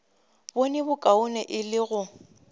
bone bokaone e le go